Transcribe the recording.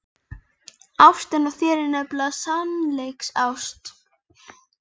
Ástin á þér er nefnilega sannleiksást.